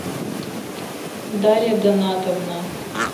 дарья донатовна